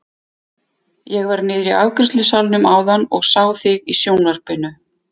Ég var niðri í afgreiðslusalnum áðan og sá þig í sjónvarpinu!